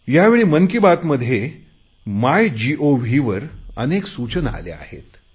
यावेळी मन की बातमध्ये मायगोव वर अनेक सूचना आल्या आहेत